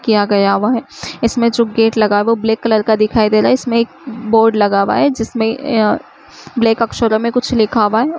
किया गया हुआ है। इसमें जो गेट लगा हुआ है वो ब्लैक कलर का दिखाई दे रहा है। इसमें एक बोर्ड लगा हुआ है जिसमे ब्लैक अक्षर में कुछ लिखा हुआ है।